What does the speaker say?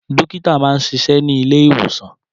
Dókítà máa ń ṣiṣẹ́ ní ilé ìwòsàn.